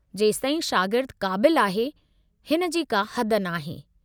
जेसताईं शागिर्द क़ाबिलु आहे, हिन जी का हद नाहे।